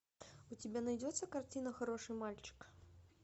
у тебя найдется картина хороший мальчик